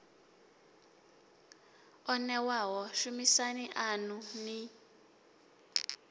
o newaho shumisani anu ni